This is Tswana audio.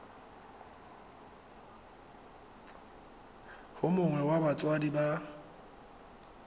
yo mongwe wa batsadi ba